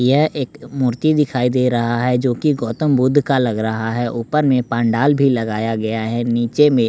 यह एक मूर्ति दिखाई दे रहा है जो कि गौतम बुद्ध का लग रहा है ऊपर में पांडाल भी लगाया गया है नीचे में --